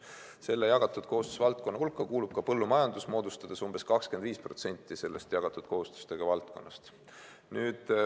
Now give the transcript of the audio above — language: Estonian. Selle jagatud kohustuse valdkonna hulka kuulub ka põllumajandus, moodustades umbes 25% jagatud kohustustega valdkonnast.